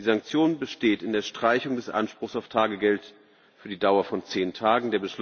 Die Sanktion besteht in der Streichung des Anspruchs auf Tagegeld für die Dauer von zehn Tagen.